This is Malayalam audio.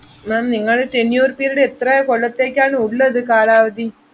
ma'am നിങ്ങളെ tenure period എത്ര കൊല്ലത്തേയ്ക്കാണ് ഉള്ളത് കാലാവധി.